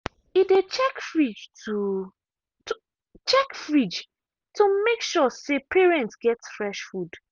e dey check fridge to check fridge to make sure say parents get fresh food.